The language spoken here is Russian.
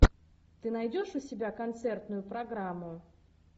ты найдешь у себя концертную программу